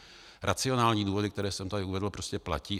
Racionální důvody, které jsem tady uvedl, prostě platí.